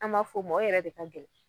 An b'a fɔ o ma o yɛrɛ de ka gɛlɛn.